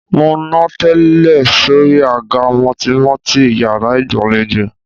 Mo nà tẹ́ẹ́rẹ́ sóri àga mùtìmùtì yàrá ìgbàlejò.